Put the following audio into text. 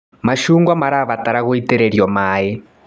Macungwa marabatara gũitĩrĩrio maĩ.